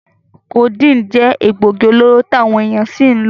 Codeine je egbogi-oloro ti awon eyan si lo.